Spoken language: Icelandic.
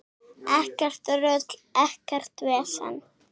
Ekkert rugl, ekkert vesen.